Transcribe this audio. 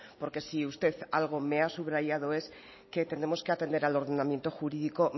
porque si usted algo me ha subrayado es que tenemos que atender al ordenamiento jurídico